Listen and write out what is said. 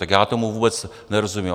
Tak já tomu vůbec nerozumím.